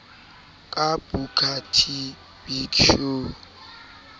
ka booker t big show